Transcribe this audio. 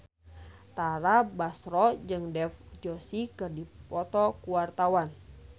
Tara Basro jeung Dev Joshi keur dipoto ku wartawan